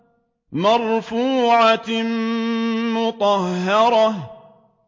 مَّرْفُوعَةٍ مُّطَهَّرَةٍ